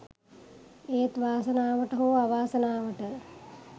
ඒත් වාසනාවට හෝ අවාසනාවට